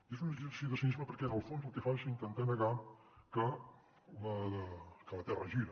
i és un exercici de cinisme perquè en el fons el que fa és intentar negar que la terra gira